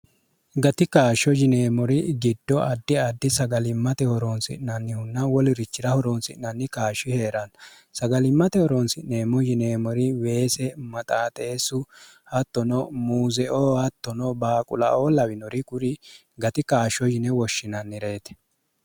gati kaashsho jineemori giddo addi addi sagalimmate horoonsi'nannihunna wolirichi'ra horoonsi'nanni kaashshi hee'ranna sagalimmate horoonsi'neemmo yineemori weese maxaaxeessu hattono muuzeoo hattono baaqulaoo lawinori guri gati kaashsho yine woshshinannireeti